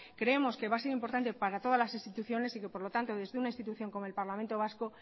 creemos que va a ser importante para todas las instituciones y que por lo tanto desde una institución como el parlamento vasco